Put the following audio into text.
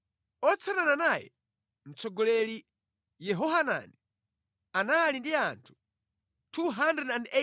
otsatana naye, mtsogoleri Yehohanani, anali ndi anthu 280,000;